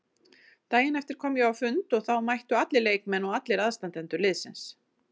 Daginn eftir kom ég á fund og þá mættu allir leikmenn og allir aðstandendur liðsins.